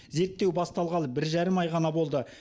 зерттеу басталғалы бір жарым ай ғана болды